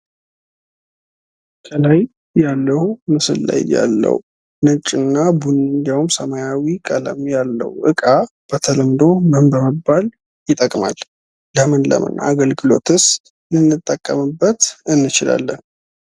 ከላይ ያለው ምስል ላይ ያለው ነጭ እና ቡኒ ሰማያዊ ቀለም ያለው ዕቃ በተለምዶ ምን በመባል ይጠቅማል። ለምን ለምን አገልግሎትስ ልንጠቀምበት እንችላለን።